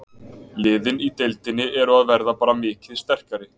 Liðin í deildinni eru að verða bara mikið sterkari.